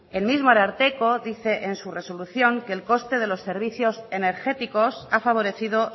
el mismo ararteko dice en su resolución que el coste de los servicios energéticos ha favorecido